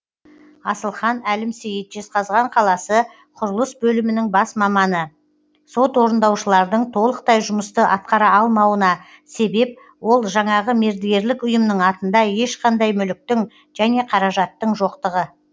асылхан әлімсейіт жезқазған қаласы құрылыс бөлімінің бас маманы сот орындаушылардың толықтай жұмысты атқара алмауына себеп ол жаңағы мердігерлік ұйымның атында ешқандай мүліктің және қаражаттың жоқтығы